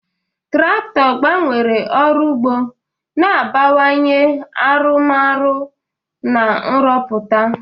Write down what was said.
Traktọ gbanwere ọrụ ugbo, na-abawanye arụmọrụ na nrụpụta.